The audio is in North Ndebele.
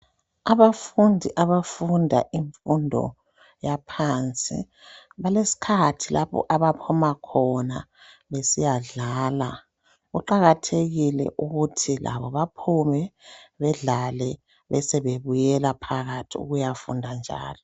Abafundi abafunda imfundo yaphansi balesikhathi lapho abaphuma khona besiyadlala kuqakathekile ukuthi labo baphume bedlale besebebuyela phakathi ukuyafunda njalo.